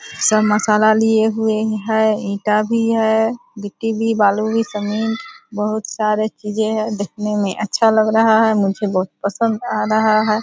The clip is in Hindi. सब मसाला लिए हुए है ईटा भी है गिट्टी भी बालू भी समिंट बहुत सारे चीजे है देखने में अच्छा लग रहा है मुझे बहुत पसंद आ रहा है ।